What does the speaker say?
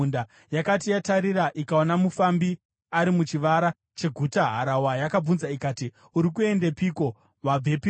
Yakati yatarira ikaona mufambi ari muchivara cheguta, harahwa yakabvunza ikati, “Uri kuendepiko? Wabvepiko?”